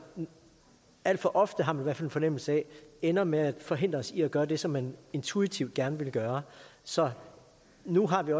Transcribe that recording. alt for ofte har man fald en fornemmelse af ender med at forhindre os i at gøre det som man intuitivt gerne vil gøre så nu har vi